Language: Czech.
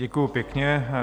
Děkuji pěkně.